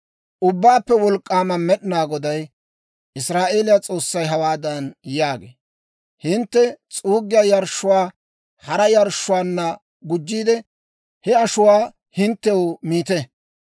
Ubbaappe Wolk'k'aama Med'inaa Goday, Israa'eeliyaa S'oossay hawaadan yaagee; «Hintte s'uuggiyaa yarshshuwaa hara yarshshotuwaanna gujjiide, he ashuwaa hinttew miite.